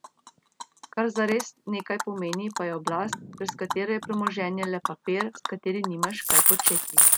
Kar zares nekaj pomeni, pa je oblast, brez katere je premoženje le papir, s katerim nimaš kaj početi.